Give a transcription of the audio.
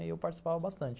E eu participava bastante.